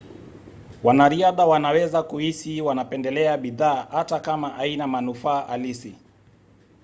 wanariadha wanaweza kuhisi wanapendelea bidhaa hata kama haina manufaa halisi